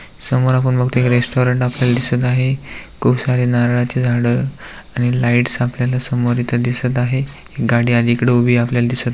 समोर आपण बघतोय एक रेस्टॉरंट आपल्याला दिसत आहे खूप सारी नारळाची झाड आणि लाइट्स आपल्याला समोर इथ दिसत आहे गाडी अलिकडे उभी आपल्याला दिसत--